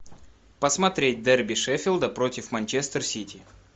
посмотреть дерби шеффилда против манчестер сити